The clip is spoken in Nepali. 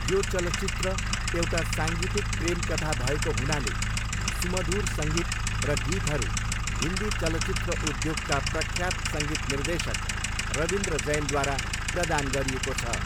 यो चलचित्र एउटा साङ्गीतिक प्रेम कथा भएको हुनाले, सुमधुर सङ्गीत र गीतहरू हिन्दी चलचित्र उद्योगका प्रख्यात सङ्गीत निर्देशक रवीन्द्र जैनद्वारा प्रदान गरिएको छ।